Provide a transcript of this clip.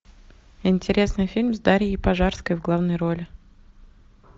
интересный фильм с дарьей пожарской в главной роли